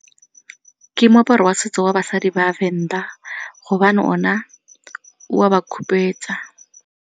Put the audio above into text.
Ke moaparo wa setso wa basadi ba Venda gobane ona o a ba khupetsa.